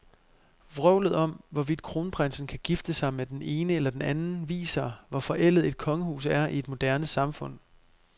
Vrøvlet om, hvorvidt kronprinsen kan gifte sig med den ene eller den anden, viser, hvor forældet et kongehus er i et moderne samfund.